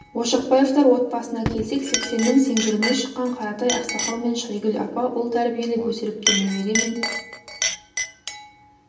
ошақбаевтар отбасыне келсек сексеннің сеңгіріне шыққан қаратай ақсақал мен шайгүл апа ұл тәрбиелеп өсіріпті немере мен